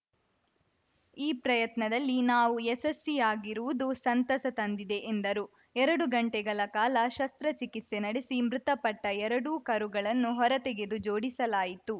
ಈ ಪ್ರಯತ್ನದಲ್ಲಿ ನಾವು ಯಶಸ್ಸಿಯಾಗಿರುವುದು ಸಂತಸ ತಂದಿದೆ ಎಂದರು ಎರಡು ಗಂಟೆಗಳ ಕಾಲ ಶಸ್ತ್ರಚಿಕಿತ್ಸೆ ನಡೆಸಿ ಮೃತಪಟ್ಟಎರಡೂ ಕರುಗಳನ್ನು ಹೊರತೆಗೆದು ಜೋಡಿಸಲಾಯಿತು